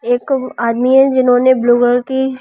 एक आदमी है जिन्होंने ब्लू गर्ल की--